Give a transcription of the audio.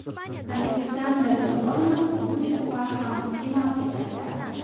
Aleksandr Lobanov bu safar ham penalti qaytardi.